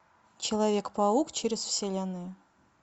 человек паук через вселенную